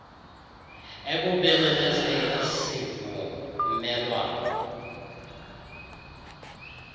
ekubeni nenze isivuelwano